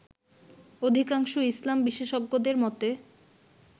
অধিকাংশ ইসলাম বিশেষজ্ঞদের মতে